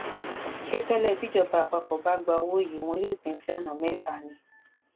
ṣé tẹlẹ bíjọba àpapọ bá gba owó yìí wọn yóò pín in sí ọnà mẹta ni